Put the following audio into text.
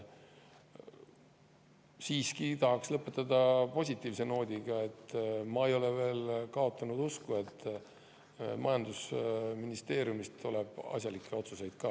Siiski tahaks lõpetada positiivse noodiga: ma ei ole veel kaotanud usku, et majandusministeeriumist tuleb asjalikke otsuseid ka.